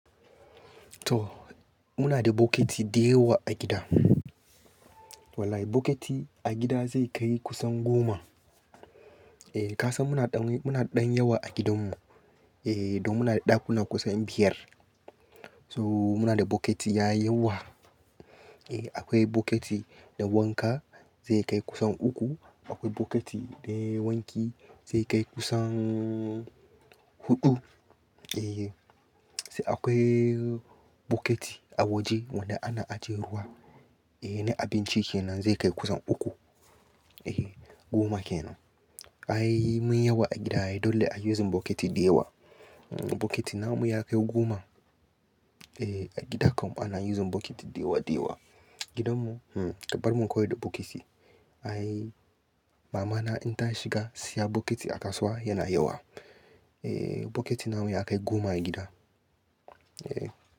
To muna da bokiti dayawa a gida. Wallahi bokiti a gida zai kai kusan goma. Eh kasan muna ɗan yawa a gidan mu, eh dan muna da ɗakuna kusan biyar. To muna da bokiti ya yawa. Eh akwai bokiti da wanka zai kai kusan uku, akwai bokiti da wanki zai kai kusan huɗu. Eh sai akwai bokiti a waje wanda ana ajiyar ruwa eh na abinci kenan zai kai kusan uku. Eh goma kenan. Ai mun yawa a gida dole a yi using bokiti dayawa. Bokiti namu ya kai goma. Eh a gida kam ana yi yanzu bokiti dayawa dayawa. Gidan mu hmm ƙaɓar mu kawai da bokiti. Ai mamana in ta shiga siya bokiti a kasuwa yana yawa. Eh bokiti namu ya kai goma a gida. Eh.